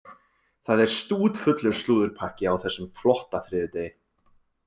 Það er stútfullur slúðurpakki á þessum flotta þriðjudegi.